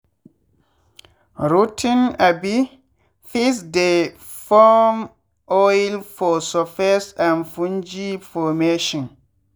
rot ten um feeds dey form oil for surface and fungi formation.